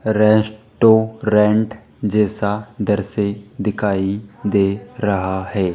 Restaurant जैसा इधर से दिखाई दे रहा है।